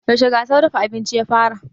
Yaushe gasar dafa abinci ya fara?